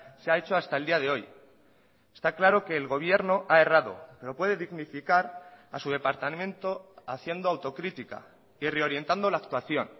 se ha hecho hasta el día de hoy está claro que el gobierno ha errado pero puede dignificar a su departamento haciendo autocrítica y reorientando la actuación